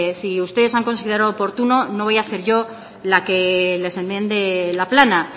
si ustedes han considerado oportuno no voy a ser yo la que les enmiende la plana